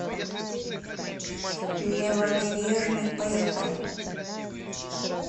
левобережный поехали